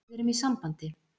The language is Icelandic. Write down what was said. Við erum í sambandi.